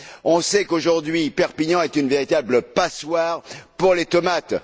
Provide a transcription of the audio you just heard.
On sait qu'aujourd'hui Perpignan est une véritable passoire pour les tomates.